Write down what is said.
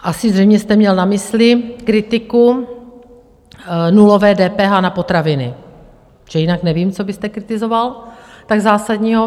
Asi zřejmě jste měl na mysli kritiku nulové DPH na potraviny, protože jinak nevím, co byste kritizoval tak zásadního.